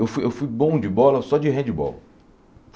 Eu fui eu fui bom de bola, só de handbol.